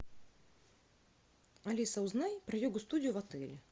алиса узнай про йогу студию в отеле